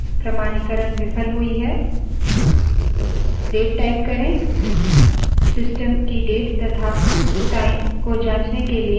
date type करें system की date तथा time को जांचने के लिए enter दबायें